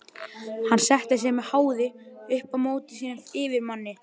Hann setti sig með háði upp á móti sínum yfirmanni.